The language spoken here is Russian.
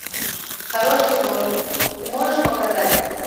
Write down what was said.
хороший вор ты можешь показать